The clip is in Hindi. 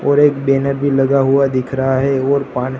और एक डिनर भी लगा हुआ दिख रहा है और पा--